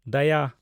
ᱫᱟᱭᱟ